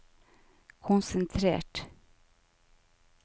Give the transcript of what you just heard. konsentrert